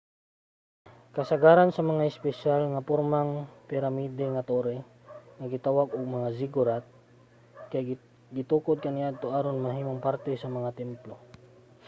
kasagaran sa mga espesyal nga pormang piramide nga torre nga gitawag og mga ziggurat kay gitukod kaniadto aron mahimong parte sa mga templo